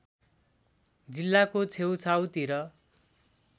जिल्लाको छेउछाउतिर